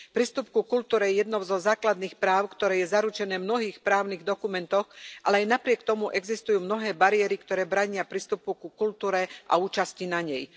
Prístup ku kultúre je jedným zo základných práv, ktoré je zaručené v mnohých právnych dokumentoch, ale aj napriek tomu existujú mnohé bariéry, ktoré bránia prístupu ku kultúre a účasti na nej.